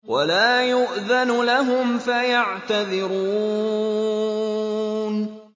وَلَا يُؤْذَنُ لَهُمْ فَيَعْتَذِرُونَ